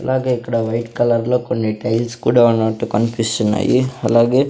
అలాగే ఇక్కడ white colour లో కొన్ని టైల్స్ కూడా ఉన్నట్టు కనిపిస్తున్నాయి అలాగే.